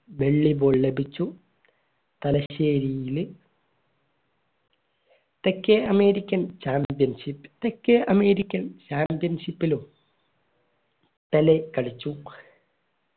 വെള്ളി ball ലഭിച്ചു തലശ്ശേരിയിലെ തെക്കേ american championship തെക്കേ American championship ലും പെലെ കളിച്ചു